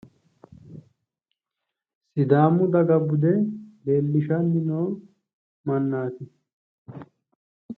sidaamu daga bude leellishanni noo mannaati.